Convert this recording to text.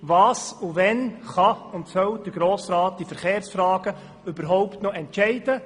Was und wann kann und soll der Grosse Rat in Verkehrsfragen überhaupt noch entscheiden?